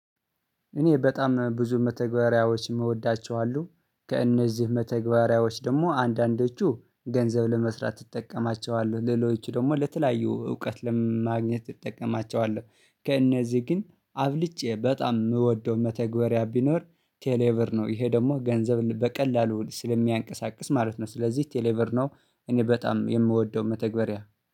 እኔ በጣም ብዙ መተግበሪያዎችን እወዳቸዋለሁ ከእነዚህ መተግበሪያዎች ደግሞ አንዳንዶቹ ገንዘብ ለመስራት እጠቀማቸዋለሁ ሌሎቹ ደግሞ ለተለያዩ እውቀት ለማግኘት ትጠቀማቸዋለሁ። ከእነዚህ ግን አብልጬ በጣም የምወደው መተግበሪያ ቢኖር ቴሌብር ነው ይሄ ደግሞ ገንዘብ በቀላሉ ስለሚያንቀሳቅስ ማለት ነው ስለዚህ ቴሌብር ነው። እኔ በጣም የምወደው መተግበሪያ